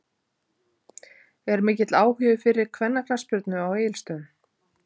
Er mikill áhugi fyrir kvennaknattspyrnu á Egilsstöðum?